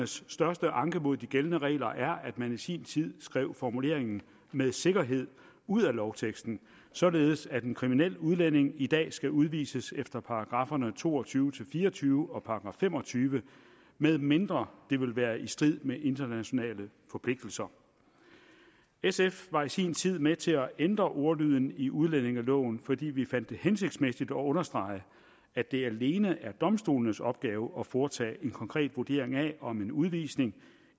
største anke mod de gældende regler er at man i sin tid skrev formuleringen med sikkerhed ud af lovteksten således at en kriminel udlænding i dag skal udvises efter paragrafferne to og tyve til fire og tyve og § fem og tyve medmindre det vil være i strid med internationale forpligtelser sf var i sin tid med til at ændre ordlyden i udlændingeloven fordi vi fandt det hensigtsmæssigt at understrege at det alene er domstolenes opgave at foretage en konkret vurdering af om en udvisning